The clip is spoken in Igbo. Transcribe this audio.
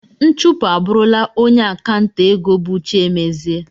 Nchụpụ abụrụla onye akanta ego bụ Chiemezie.